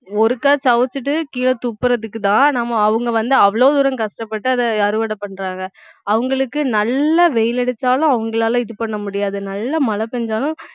ஒருக்கா சுவைச்சிட்டு கீழே துப்புறதுக்குதான் நம்ம அவங்க வந்து அவ்வளோ தூரம் கஷ்டப்பட்டு அதை அறுவடை பண்றாங்க அவங்களுக்கு நல்ல வெயில் அடிச்சாலும் அவங்களால இது பண்ண முடியாது நல்லா மழை பெய்ஞ்சாலும்